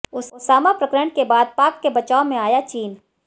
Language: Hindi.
ओसामा प्रकरण के बाद पाक के बचाव में आया चीन